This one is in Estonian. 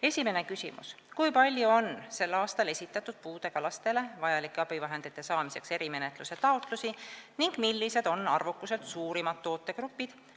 Esimene küsimus: "Kui palju on 2018. aastal esitatud puudega lastele vajalike abivahendite saamiseks erimenetluse taotlusi ning millised on arvukuselt suurimad tootegrupid?